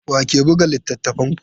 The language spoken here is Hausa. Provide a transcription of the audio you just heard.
Wa ke buga littattafanku?